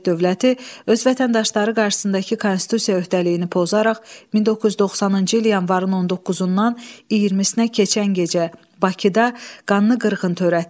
Sovet dövləti öz vətəndaşları qarşısındakı konstitusiya öhdəliyini pozaraq 1990-cı il yanvarın 19-dan 20-nə keçən gecə Bakıda qanlı qırğın törətdi.